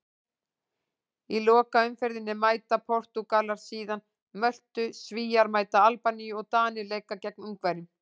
Í lokaumferðinni mæta Portúgalar síðan Möltu, Svíar mæta Albaníu og Danir leika gegn Ungverjum.